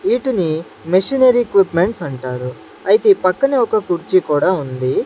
వీటిని machinery equipments అంటారు అయితే ఈ పక్కనే ఒక కుర్చీ కూడా ఉంది.